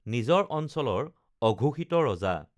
নিজৰ অঞ্চলৰ অঘোষিত ৰজা